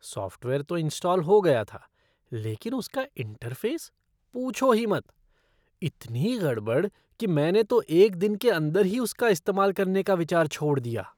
Software तो install हो गया था लेकिन उसका इंटरफ़ेस, पूछो ही मत! इतनी गड़बड़ कि मैंने तो एक दिन के अंदर ही उसका इस्तेमाल करने का विचार छोड़ दिया।